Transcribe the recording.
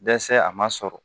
Dɛsɛ a ma sɔrɔ